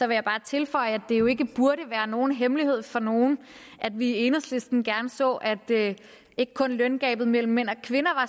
jeg bare tilføje at det jo ikke burde være nogen hemmelighed for nogen at vi i enhedslisten gerne så at løngabet mellem mænd og kvinder